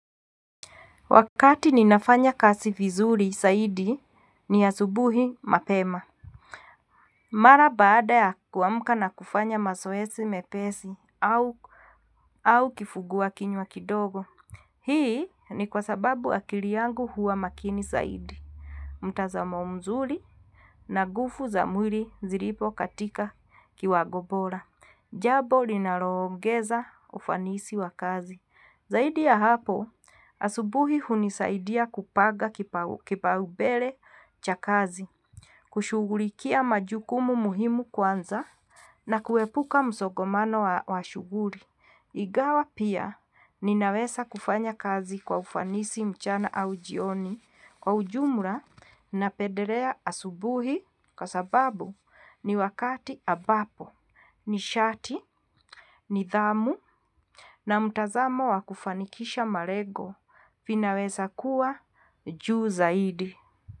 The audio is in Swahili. Wakati ninafanya kazi vizuri zaidi ni asubuhi mapema. Mara baada ya kuamka na kufanya mazoezi mepesi au kifungua kinywa kidogo. Hii ni kwa sababu akili yangu huwa makini zaidi. Mtazamo mzuri na nguvu za mwili zilipo katika kiwango bora. Jambo linaloongeza ufanisi wa kazi. Zaidi ya hapo, asubuhi hunisaidia kupanga kipaumbele cha kazi, kushughulikia majukumu muhimu kwanza na kuepuka msongamano wa shughuli. Ingawa pia ninaweza kufanya kazi kwa ufanisi mchana au jioni kwa ujumla napendelea asubuhi kwa sababu ni wakati ambapo. Nishati, nidhamu na mtazamo wa kufanikisha malengo vinaweza kuwa juu zaidi.